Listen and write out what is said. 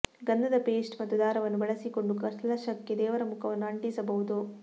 ಗಂಧದ ಪೇಸ್ಟ್ ಮತ್ತು ದಾರವನ್ನು ಬಳಸಿಕೊಂಡು ಕಲಶಕ್ಕೆ ದೇವರ ಮುಖವನ್ನು ಅಂಟಿಸಬಹುದು